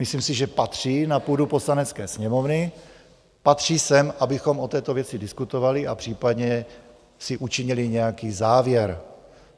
Myslím si, že patří na půdu Poslanecké sněmovny, patří sem, abychom o této věci diskutovali a případně si učinili nějaký závěr.